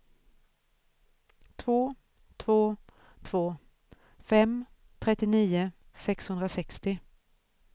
två två två fem trettionio sexhundrasextio